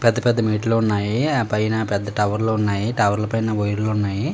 పెద్ద పెద్ద మెట్లు ఉన్నాయి. ఆ పైన పెద్ద టవర్లు ఉన్నాయి. ఆ టవర్లు పైన వైర్లు ఉన్నాయి.